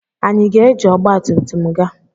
Anyị ga-eji ọgbatumtum gaa?